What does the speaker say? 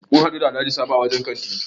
Mun hadu da Alhaji Sabo a wajen kanta.